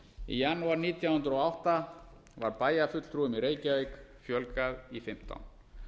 í janúar nítján hundruð og átta var bæjarfulltrúum í reykjavík fjölgað í fimmtán